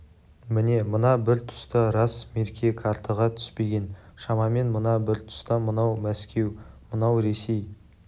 міне мына бір тұста рас мерке қартаға түспеген шамамен мына бір тұста мынау мәскеу мынау ресей